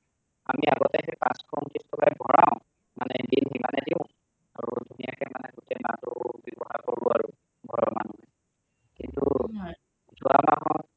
আমি আগতে সেই পাঁচশ উন্তৃষ টকা ভৰাও মানে bill সিমানেই দিওঁ ধুনীয়াকে মানে গোটেই মাহটো ব্যৱহাৰ কৰোঁ আৰু ঘৰৰ মানুহে কিন্তু যোৱা মাহত